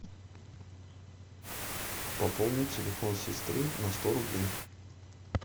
пополнить телефон сестры на сто рублей